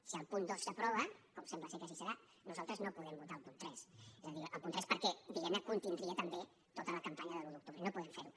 si el punt dos s’aprova com sembla ser que així serà nosaltres no podem votar el punt tres és a dir el punt tres perquè diguem ne contindria també tota la campanya de l’un d’octubre i no podem fer ho